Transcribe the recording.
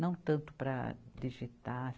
Não tanto para digitar.